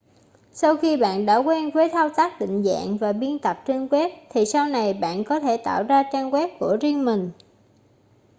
sau khi bạn đã quen với thao tác định dạng và biên tập trên web thì sau này bạn có thể tạo ra trang web của riêng mình